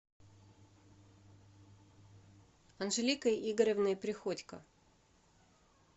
анжеликой игоревной приходько